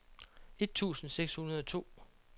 et tusind seks hundrede og to